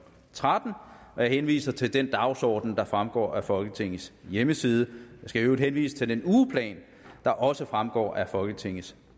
tretten jeg henviser til den dagsorden der fremgår af folketingets hjemmeside jeg skal i øvrigt henvise til den ugeplan der også fremgår af folketingets